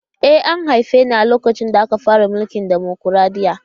E, an haife ni a lokacin da suka fara mulkin dimokuradiyya.